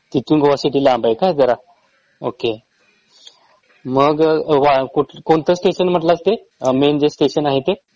तिथून गोआ सिटी लांब आहे का जरा ओके मग अ वा कोणतं स्टेशन म्हणलास ते मेन जे स्टेशन आहे ते